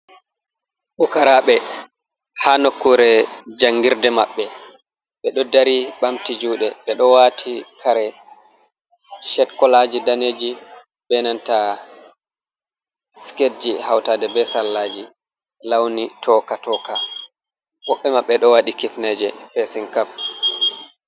Pukaraɓe ha nokkure njangirde maɓɓe, ɓe ɗo dari ɓamti juɗe be ɗo wati kare shet kolaji daneji, be nanta siketji hautade be sallaji launi toka toka, wobɓe mabɓe ɗo wati kifneje fesin kap.